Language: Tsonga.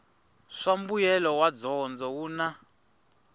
swa mbuyelo wa dyondzo wun